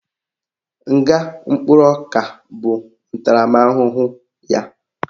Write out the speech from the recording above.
Nga mkpụrụ ọka bụ ntaramahụhụ ya